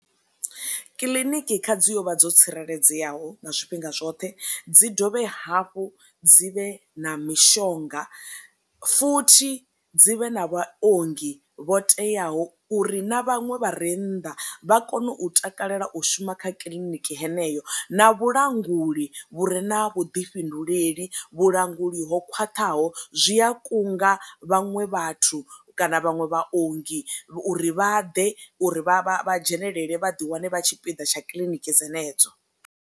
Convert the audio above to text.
Kiḽiniki kha dzi yo vha dzo tsireledzeaho na zwifhinga zwoṱhe, dzi dovhe hafhu dzi vhe na mishonga futhi dzi vhe na vha ongi vho teaho uri na vhaṅwe vha re nnḓa vha kone u takalela u shuma kha kiḽiniki heneyo na vhulanguli vhure na vhuḓifhinduleli, vhulanguli ho khwaṱhaho zwi a kunga vhaṅwe vhathu kana vhaṅwe vha ongi uri vha ḓe uri vha dzhenelele vha ḓi wane vha tshipiḓa tsha kiḽiniki dzenedzo.